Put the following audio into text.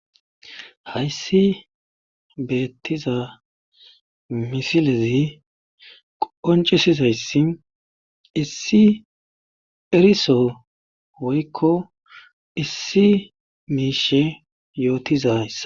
hayssi beettiza misilezi qoncisizayssi issi eriso woykko issi miishe yootizayssa